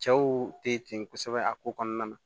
Cɛw te ten kosɛbɛ a ko kɔnɔna na